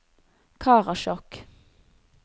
Karasjok